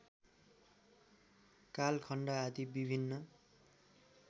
कालखण्ड आदि विभिन्न